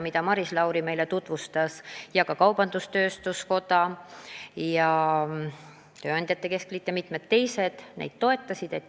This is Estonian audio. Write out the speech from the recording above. Maris Lauri tutvustas neid meile ning kaubandus-tööstuskoda, tööandjate keskliit ja mitmed teised neid toetasid.